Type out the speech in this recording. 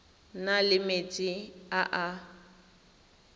na le metsi a a